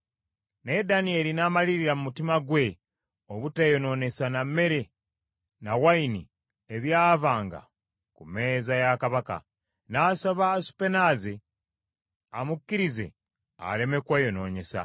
Naye Danyeri n’amalirira mu mutima gwe obuteeyonoonyesa na mmere na wayini ebyavanga ku mmeeza ya kabaka, n’asaba Asupenaazi amukkirize aleme kweyonoonyesa.